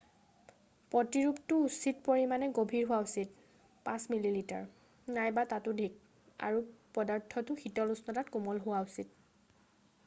প্ৰতিৰূপটো উচিত পৰিমাণে গভীৰ হোৱা উচিত 5 মিলিমিটাৰ 1/5 ইঞ্চি নাইবা ততোধিক আৰু পদাৰ্থটো শীতল উষ্ণতাত কোমল হোৱা উচিত।